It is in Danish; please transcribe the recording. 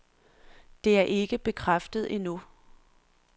Det er ikke bekræftet endnu.